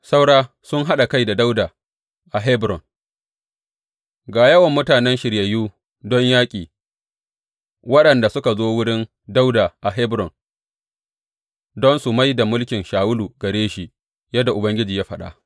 Saura sun haɗa kai da Dawuda a Hebron Ga yawan mutanen shiryayyu don yaƙi waɗanda suka zo wurin Dawuda a Hebron don su mai da mulkin Shawulu gare shi, yadda Ubangiji ya faɗa.